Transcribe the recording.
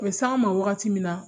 U bɛ s'an ma wagati min na